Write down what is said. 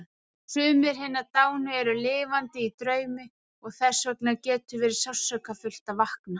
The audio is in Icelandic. Sumir hinna dánu eru lifandi í draumi og þessvegna getur verið sársaukafullt að vakna.